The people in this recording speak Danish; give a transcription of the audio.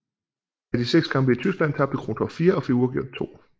Af de 6 kampe i Tyskland tabte Krontoft 4 og fik uafgjort i 2